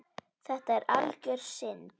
Þetta er algjör synd.